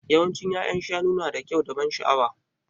Yawancin ya'yan shanu nada kyau da ban sha'awa.